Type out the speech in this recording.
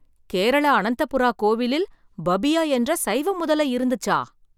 கேரளா அனந்தபுரா கோவிலில் பபியா என்ற சைவ முதலை இருந்துச்சா!